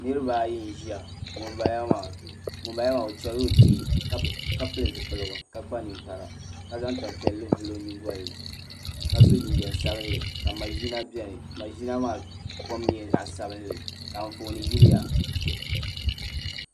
Niraba ayi n ʒiya ŋunbala maa o chɛrila o kpee ka pili zipiligu ka kpa ninkpara ka zaŋ tanpiɛlli vuli o nyingoli ni ka so jinjɛm sabinli ka maʒina biɛni maʒina maa kom nyɛla zaɣ sabinli ka Anfooni yiliya